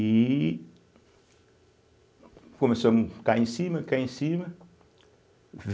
E Começamos cair em cima, cair em cima.